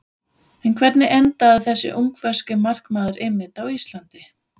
En hvernig endaði þessi ungverski markmaður einmitt á Íslandi?